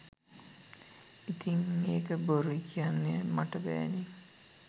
ඉතිං ඒක බොරුයි කියන්න මට බෑනෙ